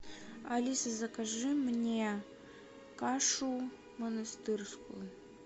алиса закажи мне кашу монастырскую